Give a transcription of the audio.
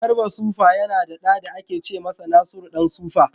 Garba Super yana da ɗa da ake ce masa Nasuru ɗan sufa.